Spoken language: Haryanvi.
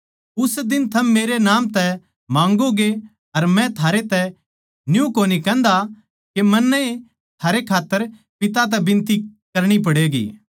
उस दिन थम मेरै नाम तै माँगोगे अर मै थारैतै न्यू कोनी कहन्दा के मन्नै ए थारै खात्तर पिता तै बिनती करणी पड़ैंगी